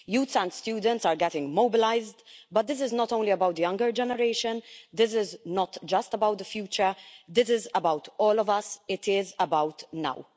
Youths and students are getting mobilised, but this is not only about the younger generation, this is not just about the future, this is about all of us, it is about now.